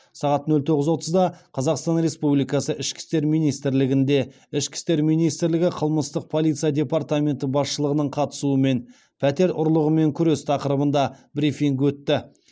сағат нөл тоғыз отызда қазақстан республикасы ішкі істер министрлігінде ішкі істер министрлігі қылмыстық полиция департаменті басшылығының қатысуымен пәтер ұрлығымен күрес тақырыбында брифинг өтті